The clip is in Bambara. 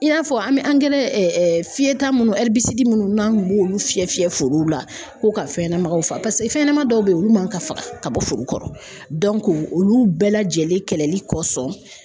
I y'a fɔ an bɛ angɛrɛ fiyɛta munnu munnu n'an b'olu fiyɛ fiyɛ forow la k'u ka fɛn ɲɛnamaw faga paseke fɛn ɲɛnama dɔw bɛ yen olu man ka faga ka bɔ foro kɔrɔ olu bɛɛ lajɛlen kɛlɛli kɔsɔn